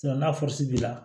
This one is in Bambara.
n'a b'i la